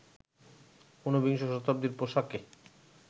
উনবিংশ শতাব্দীর পোশাকে